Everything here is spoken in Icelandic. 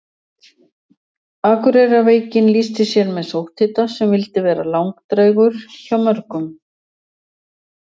akureyrarveikin lýsti sér með sótthita sem vildi vera langdrægur hjá mörgum